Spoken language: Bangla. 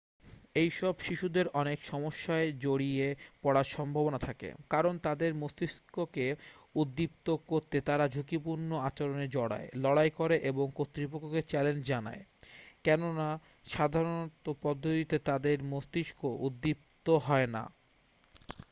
"এইসব শিশুদের অনেক সমস্যায় জড়িয়ে পড়ার সম্ভাবনা থাকে কারণ তাদের মস্তিষ্ককে উদ্দীপ্ত করতে তারা "ঝুঁকিপূর্ণ আচরণে জড়ায় লড়াই করে এবং কর্তৃপক্ষকে চ্যালেঞ্জ জানায়" কেননা সাধারণ পদ্ধতিতে তাদের মস্তিষ্ক উদ্দীপ্ত হয় না।